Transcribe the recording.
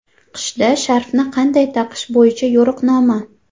Qishda sharfni qanday taqish bo‘yicha yo‘riqnoma .